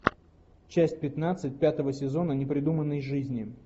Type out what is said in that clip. часть пятнадцать пятого сезона непридуманной жизни